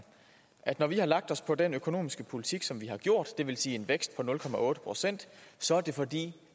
at når vi har lagt os på den økonomiske politik som vi har gjort det vil sige en vækst på nul procent så er det fordi